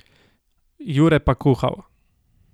Jure pa kuhal.